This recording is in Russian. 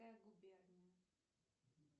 губерния